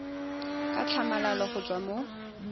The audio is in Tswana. ka tlhamalalo go tswa mo